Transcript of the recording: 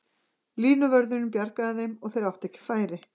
Línuvörðurinn bjargaði þeim og þeir áttu ekki færi.